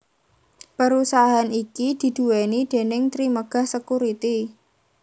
Perusahaan iki diduweni déning Trimegah Securities